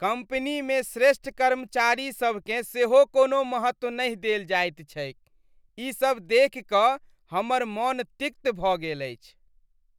कम्पनीमे श्रेष्ठ कर्मचारीसभकेँ सेहो कोनो महत्व नहि देल जायत छैक। इससभ देखि कऽ हमर मन तिक्त भऽ गेल अछि।